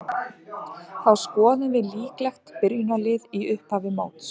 Þá skoðum við líklegt byrjunarlið í upphafi móts.